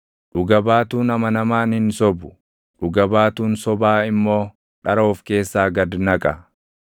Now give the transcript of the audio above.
Dhuga baatuun amanamaan hin sobu; dhuga baatuun sobaa immoo dhara of keessaa gad naqa.